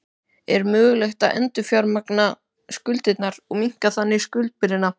Er mögulegt að endurfjármagna skuldirnar og minnka þannig skuldabyrðina?